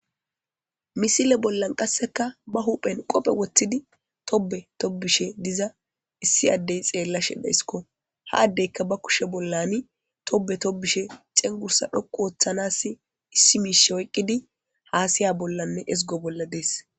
misile bollan qasseka ba huphen qophe woththidi tobe tobishe diza issi addey xeella shedha isko haaddeyka ba kushe bollani tobe tobishe xengursa dhoqu ooththanass issi miishe oyqqidi haasaya bollanne ezgo bolla dees